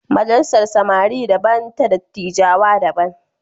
Majalisar samari daban ta dattijawa da daban